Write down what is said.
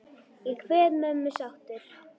Ég kveð mömmu sáttur.